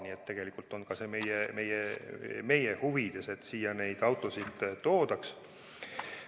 Nii et tegelikult on see ka meie huvides, et neid autosid siia toodaks.